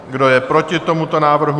Kdo je proti tomuto návrhu?